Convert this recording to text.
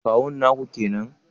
Kawun naku kenan